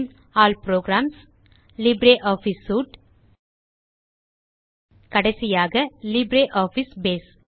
பின் all programs பின் LibreOffice suite கடைசியாக LibreOffice base